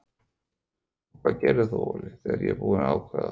Og hvað gerir þú Óli þegar ég er búinn að ákveða þetta?